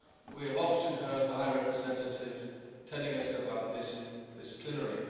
We have often heard the High Representative telling us about this in this plenary.